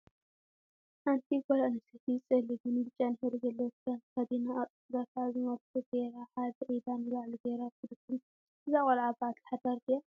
ሓንቲ ጓል አንስተይቲ ፀሊምን ብጫን ሕብሪ ዘለዎ ክዳን ተከዲና አብ ፅፍራ ከዓ አዝማልቶ ገይራ ሓደ ኢዳ ንላዕሊ ገይራ ትርከብ እዛ ቆልዓ በዓልቲ ሓዳር ድያ?